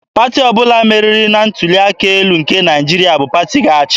Pati ọbụla meriri na ntuli aka elu nke Naịjirịa bụ pati ga-achị.